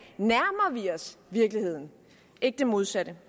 nærmer vi os virkeligheden ikke det modsatte